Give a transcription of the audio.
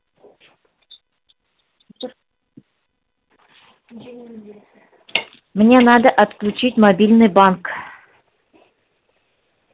мне надо отключить мобильный банк